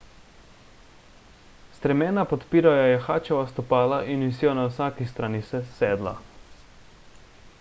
stremena podpirajo jahačeva stopala in visijo na vsaki strani sedla